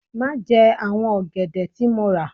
Má jẹ àwọn ọ̀gẹ̀dẹ̀ tí mo rà l